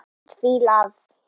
Mynd: Fílar